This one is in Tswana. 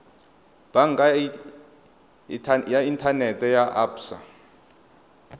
banka ya inthanete ya absa